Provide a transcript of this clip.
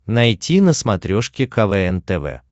найти на смотрешке квн тв